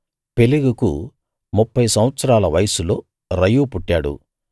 పెలెగుకు ముప్ఫై సంవత్సరాల వయస్సులో రయూ పుట్టాడు